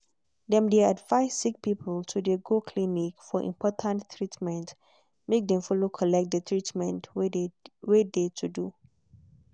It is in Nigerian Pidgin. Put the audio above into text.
dem de advice sick people to go clinic for important treatment make dem follow collect de treatment wey de to do.